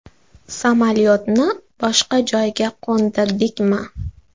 Samolyotni boshqa joyga qo‘ndirdikmi?